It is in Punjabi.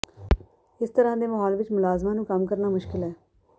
ਇਸ ਤਰ੍ਹਾ ਦੇ ਮਾਹੌਲ ਵਿਚ ਮੁਲਾਜ਼ਮਾਂ ਨੂੰ ਕੰਮ ਕਰਨਾ ਮੁਸ਼ਕਿਲ ਹੈ